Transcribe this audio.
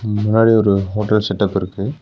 ம் முன்னாடி ஒரு ஹோட்டல் செட்டப் இருக்கு.